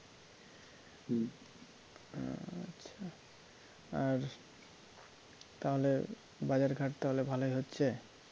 আর তাহলে বাজার ঘাট তাহলে ভালোই হচ্ছে?